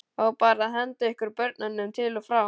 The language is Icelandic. Á bara að henda ykkur börnunum til og frá?